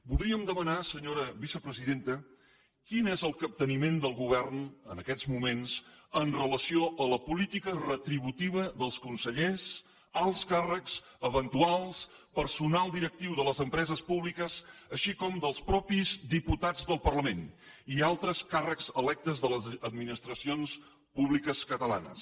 voldríem demanar senyora vicepresidenta quin és el capteniment del govern en aquests moments amb relació a la política retributiva dels consellers alts càrrecs eventuals personal directiu de les empreses públiques així com dels mateixos diputats del parlament i altres càrrecs electes de les administracions públiques catalanes